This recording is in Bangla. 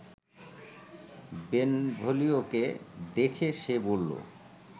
বেনভোলিওকে দেখে সে বলল